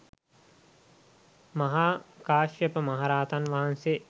මහා කාශ්‍යප මහ රහතන් වහන්සේ